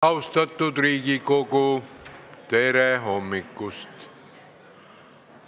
Austatud Riigikogu, tere hommikust!